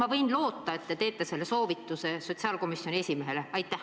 Kas ma võin loota, et te annate selle soovituse sotsiaalkomisjoni esimehele?